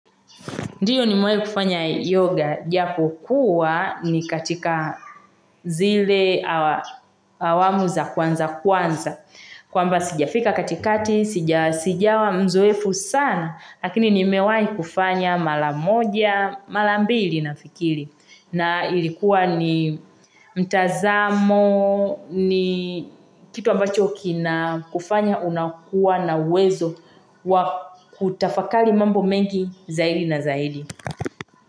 Ndiyo, nimewahi kufanya yoga japokuwa ni katikaa zilee awa awamu za kwanza kwanza. Kwamba, sijafika katikati, sija, sijawa mzoefu saana, lakini nimewahi kufanya mara moja, mara mbili nafikiri. Naa ilikuwa nii mtazamooo, niii kitu ambacho kinaa kufanya unakuwa na uwezo wa kutafakari mambo mengi zaidi na zaidi.